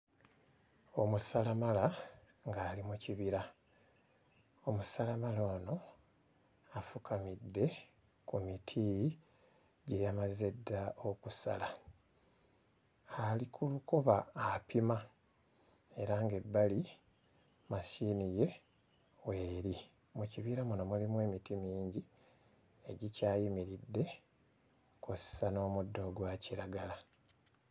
Omusalamala ng'ali mu kibira, omusalamala ono afukamidde ku miti gye yamaze dda okusala, ali ku lukoba apima era ng'ebbali mashini ye weeri, mu kibira muno mulimu emiti mingi egikyayimiridde kw'ossa n'omuddo ogwa kiragala.